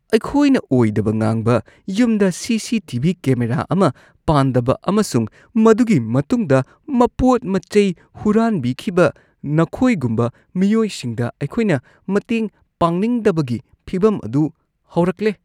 ꯑꯩꯈꯣꯏꯅ ꯑꯣꯏꯗꯕ ꯉꯥꯡꯕ, ꯌꯨꯝꯗ ꯁꯤ.ꯁꯤ.ꯇꯤ.ꯚꯤ. ꯀꯦꯃꯦꯔꯥ ꯑꯃ ꯄꯥꯟꯗꯕ ꯑꯃꯁꯨꯡ ꯃꯗꯨꯒꯤ ꯃꯇꯨꯡꯗ ꯃꯄꯣꯠ-ꯃꯆꯩ ꯍꯨꯔꯥꯟꯕꯤꯈꯤꯕ ꯅꯈꯣꯏꯒꯨꯝꯕ ꯃꯤꯑꯣꯏꯁꯤꯡꯗ ꯑꯩꯈꯣꯏꯅ ꯃꯇꯦꯡ ꯄꯥꯡꯅꯤꯡꯗꯕꯒꯤ ꯐꯤꯚꯝ ꯑꯗꯨ ꯍꯧꯔꯛꯂꯦ꯫ (ꯄꯨꯂꯤꯁ)